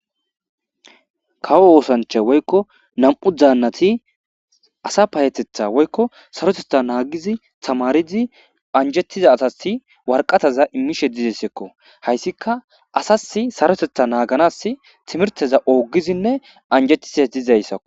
Kawo oosancha woykko nam'u daannati asa payetetha woykko saroteta naagizi tamaridi anjettiza asasi warqataza immishe dizesekko hayssika asasi sarotetha naaganas timirteza oogizinne anjetize dizayssao